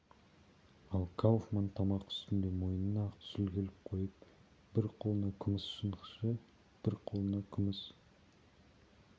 ал кауфман тамақ үстінде мойнына ақ сүлгі іліп қойып бір қолына күміс шанышқы бір қолына күміс